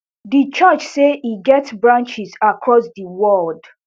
di church say e get branches across di world